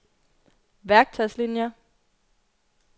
værktøjslinier